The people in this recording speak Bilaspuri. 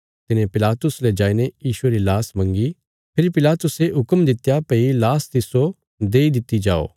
तिने पिलातुस ले जाईने यीशुये री लाश मंगी फेरी पिलातुसे हुक्म दित्या भई लाश तिस्सो देई दित्ति जाओ